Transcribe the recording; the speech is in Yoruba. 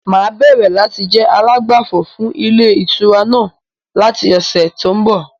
Máa bẹ̀rẹ̀ láti jẹ alágbàfọ̀ fún ilé ìtura náà láti ọ̀sẹ̀ to ń bọ̀ lọ.